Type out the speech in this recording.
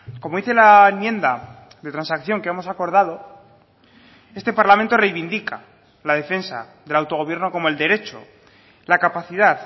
como dice la enmienda de transacción que hemos acordado este parlamento reivindica la defensa del autogobierno como el derecho la capacidad